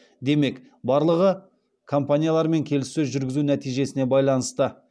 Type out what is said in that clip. демек барлығы компаниялармен келіссөз жүргізу нәтижесіне байланысты